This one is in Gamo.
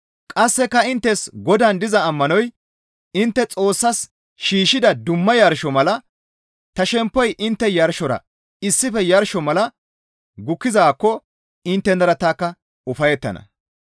Qasseka inttes Godaan diza ammanoy intte Xoossas shiishshida dumma yarsho mala ta shemppoy intte yarshora issife yarsho mala gukkizaakko inttenara tanikka ufayettana.